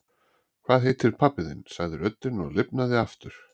Hvað heitir pabbi þinn? sagði röddin og lifnaði aftur.